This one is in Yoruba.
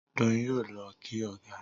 Doyin yóò ló kí ọgá.